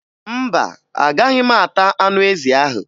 Mba, Agaghị m ata anụ ezi ahụ